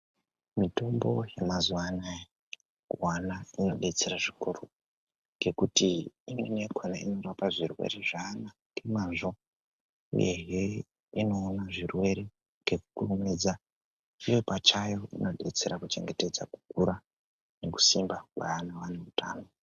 Mitombo yemazuwa anaya kuana inodetsera zvikuru ngekutii imweni yakhona inorapa zvirwere zvaana ngemazvo uyezve inoona zvirwere ngekukurumidza iuo pachayo inodetsera kuchengetedza kukura nekusimba kwaana ane utano.